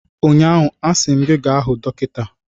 Ụnyaahụ, a sị m gị gaa hụ dọkịta!